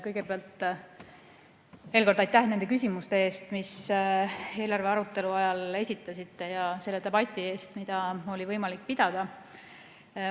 Kõigepealt veel kord aitäh nende küsimuste eest, mis te eelarve arutelu ajal esitasite, ja selle debati eest, mida oli võimalik pidada.